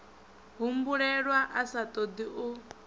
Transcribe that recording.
humbulelwa a sa ṱoḓi u